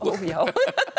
já